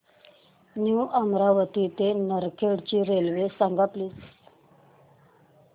new Amravati ते नरखेड ची railway सांग प्लीज